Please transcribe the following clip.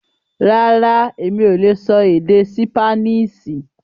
Rárá, Emi o lè sọ èdè Sípáníìṣì